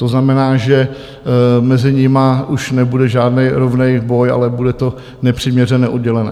To znamená, že mezi nimi už nebude žádný rovný boj, ale bude to nepřiměřené, oddělené.